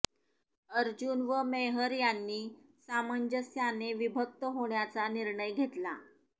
अर्जुन व मेहर यांनी सामंजस्याने विभक्त होण्याचा निर्णय घेतला